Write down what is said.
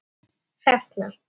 Þín, Hrefna.